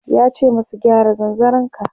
yace masa "gyara zanzaron ka!"